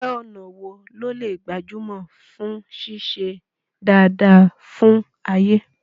Iṣẹ́ ọnà wo ló lè gbajúmọ̀ fún ṣíṣe dáadáa fún Ayé?